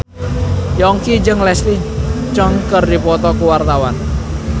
Yongki jeung Leslie Cheung keur dipoto ku wartawan